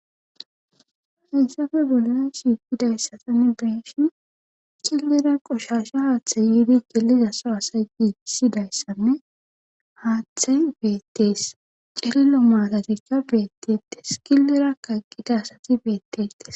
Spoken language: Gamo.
ainsafe bolena shiikidayssatanne beeshin cillera qoshasha haaththay yiidi geliza so asa i issidayssanne haaththay beettees celilo maatatikka beettete killera kaqqida asati beettestes